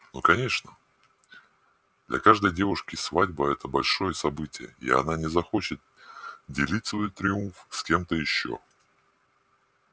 ну конечно для каждой девушки свадьба это большое событие и она не захочет делить свой триумф с кем-то ещё